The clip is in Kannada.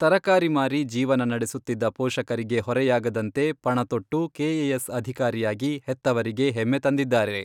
ತರಕಾರಿ ಮಾರಿ ಜೀವನ ನಡೆಸುತ್ತಿದ್ದ ಪೋಷಕರಿಗೆ ಹೊರೆಯಾಗದಂತೆ ಪಣತೊಟ್ಟು, ಕೆಎಎಸ್ ಅಧಿಕಾರಿಯಾಗಿ ಹೆತ್ತವರಿಗೆ ಹೆಮ್ಮೆ ತಂದಿದ್ದಾರೆ.